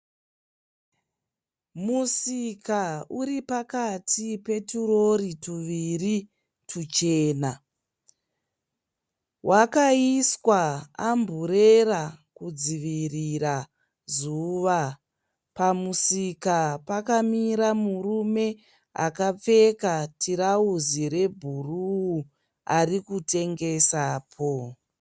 Musika uripakati peturori tuviri tuchena .Wakaiswa umburera kudzivvirira zuva. Pamusika pakamira murume akapfeka turauzi rebhuruu ari kutengesapo.